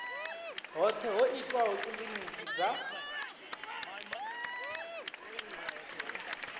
hoṱhe ho itwaho kilinikini dza